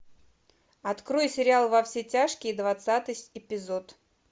открой сериал во все тяжкие двадцатый эпизод